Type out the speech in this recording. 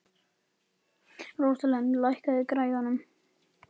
Rósalind, lækkaðu í græjunum.